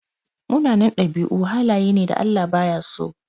Munanan ɗabi'u halaye ne da Allah baya so.